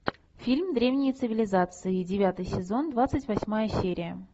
фильм древние цивилизации девятый сезон двадцать восьмая серия